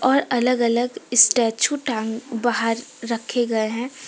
और अलग- अलग स्टैचू टांग बाहर रखे गए हैं।